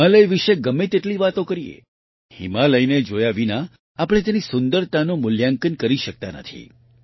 હિમાલય વિશે ગમે તેટલી વાતો કરીએ હિમાલયને જોયા વિના આપણે તેની સુંદરતાનું મૂલ્યાંકન કરી શકતા નથી